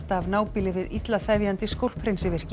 af nábýli við illa þefjandi